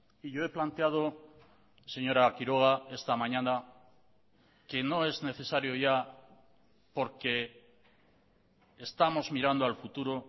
y yo he planteado señora quiroga esta mañana que no es necesario ya porque estamos mirando al futuro